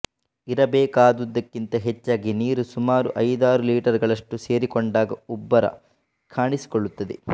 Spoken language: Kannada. ಇರಬೇಕಾದುದಕ್ಕಿಂತ ಹೆಚ್ಚಾಗಿ ನೀರು ಸುಮಾರು ಐದಾರು ಲೀಟರುಗಳಷ್ಟು ಸೇರಿಕೊಂಡಾಗ ಉಬ್ಬರ ಕಾಣಿಸಿಕೊಳ್ಳುತ್ತದೆ